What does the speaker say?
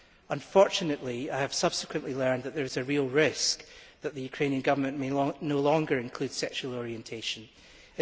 Unfortunately, I have subsequently learned that there is a real risk that the Ukrainian Government may no longer include sexual orientation in the legislation.